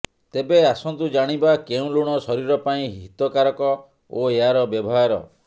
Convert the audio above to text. ତେବେ ଆସନ୍ତୁ ଜାଣିବା କେଉଁ ଲୁଣ ଶରୀର ପାଇଁ ହିତକାରକ ଓ ଏହାର ବ୍ୟବହାର